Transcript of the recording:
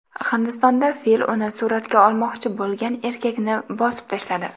Hindistonda fil uni suratga olmoqchi bo‘lgan erkakni bosib tashladi.